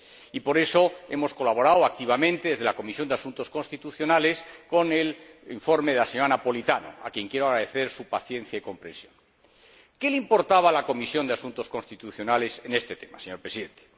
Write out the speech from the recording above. Y por eso hemos colaborado activamente desde la Comisión de Asuntos Constitucionales con el informe de la señora Napoletano, a quien quiero agradecer su paciencia y comprensión. ¿Qué le importaba a la Comisión de Asuntos Constitucionales en este tema, señor Presidente?